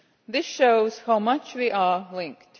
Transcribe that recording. This shows how much we are linked.